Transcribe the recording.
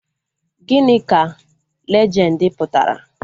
Gịnị ka lejendi pụtara?